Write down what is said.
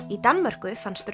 í Danmörku fannst